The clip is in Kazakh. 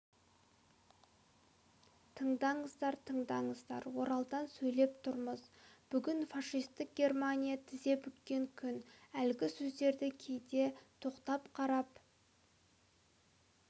тыңдаңыздар тыңдаңыздар оралдан сөйлеп тұрмыз бүгін фашистік германия тізе бүккен күн әлгі сөздерді кейде тоқтап қарап